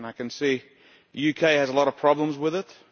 I can see the UK has a lot of problems with it